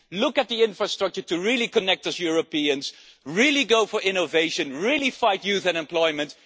Look at the infrastructure to really connect us Europeans, really go for innovation, really fight youth unemployment.